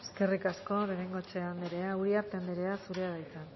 eskerrik asko de bengoechea anderea uriarte anderea zurea da hitza